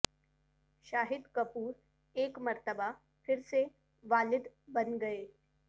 شاہد کپور ایک مرتبہ پھر سے والد بن گئے